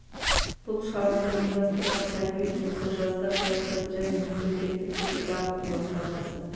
бұл шараны ұйымдастырған тәрбие жұмысы жастар саясаты және мемлекеттік тілді дамыту басқармасы